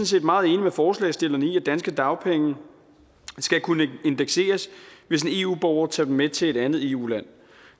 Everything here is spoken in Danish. set meget enige med forslagsstillerne i at danske dagpenge skal kunne indekseres hvis en eu borger tager dem med til et andet eu land